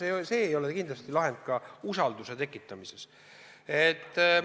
See ei ole kindlasti ka usalduse tekitamise lahend.